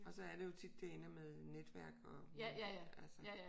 Og så er det jo tit det ender med netværk og altså